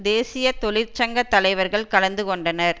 தேசிய தொழிற் சங்க தலைவர்கள் கலந்து கொண்டனர்